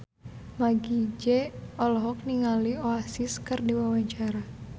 Meggie Z olohok ningali Oasis keur diwawancara